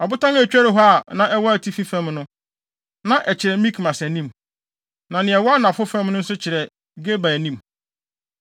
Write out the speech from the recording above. Ɔbotan a etweri hɔ a na ɛwɔ atifi fam no, na ɛkyerɛ Mikmas anim, na nea ɛwɔ anafo fam no nso ɛkyerɛ Geba anim.